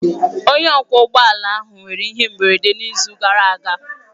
Onye ọkwọ ụgbọ ala ahụ nwere ihe mberede n'izu gara aga.